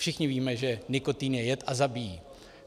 Všichni víme, že nikotin je jed a zabíjí.